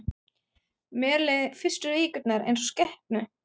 Mér leið fyrstu vikurnar einsog skepnu.